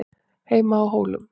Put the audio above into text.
HEIMA Á HÓLUM